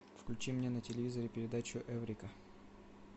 включи мне на телевизоре передачу эврика